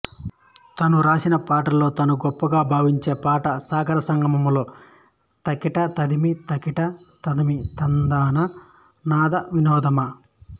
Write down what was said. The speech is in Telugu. తను రాసిన పాటలలో తాను గొప్పగా భావించే పాటలు సాగర సంగమంలో తకిట తదిమి తకిట తదిమి తందాన నాదవినోదము